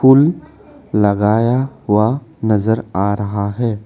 फूल लगाया हुआ नजर आ रहा है।